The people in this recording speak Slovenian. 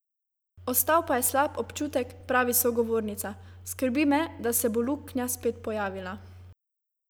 Ostal pa je slab občutek, pravi sogovornica: "Skrbi me, da se bo luknja spet pojavila.